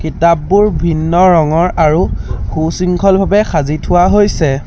কিতাপবোৰ ভিন্ন ৰঙৰ আৰু সু-শৃংখল ভাৱে সাঁজি থোৱা হৈছে।